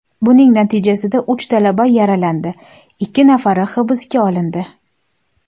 Buning natijasida uch talaba yaralandi, ikki nafari hibsga olindi.